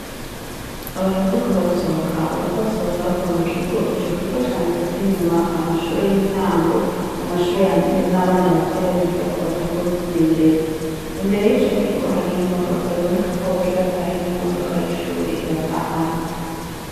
Abantu bariko barasohoka bariko basohoka bava mu kigo ico kigo canditseko inyuma amashure y'intango amashure yandye n'abana batoya biga ko batanguwekoimenyereza imbere y'ico kigo hariho imodoka biboneka ko abagira batahe n'imodoka y'ishuri ibatahana.